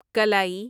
کلائی